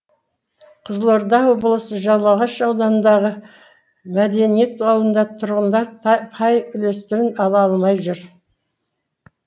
қызылорда облысы жалағаш ауданындағы мәдениет ауылында тұрғындар пай үлестерін ала алмай жүр